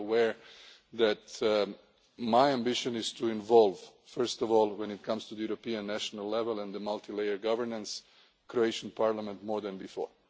yes. You are aware that my ambition is to involve first of all when it comes to the European national level and the multi layered governance the Croatian parliament more than